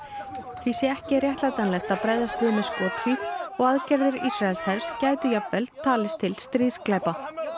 því sé ekki réttlætanlegt að bregðast við með skothríð og aðgerðir Ísraelshers gætu jafnvel talist til stríðsglæpa